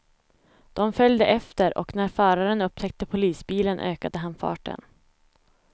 De följde efter och när föraren upptäckte polisbilen ökade han farten.